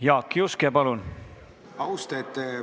Jaak Juske, palun!